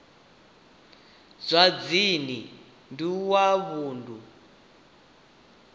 zwa dzinn ḓu wa vunḓu